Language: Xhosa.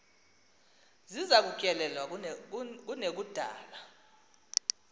ziza kutyelelwa kunekudala